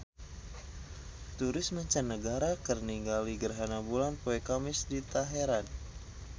Turis mancanagara keur ningali gerhana bulan poe Kemis di Teheran